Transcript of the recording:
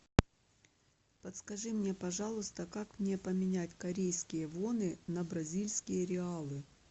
подскажи мне пожалуйста как мне поменять корейские воны на бразильские реалы